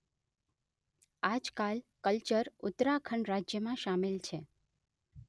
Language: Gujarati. આજકાલ કલ્યર ઉત્તરાખંડ રાજયમાં શામેલ છે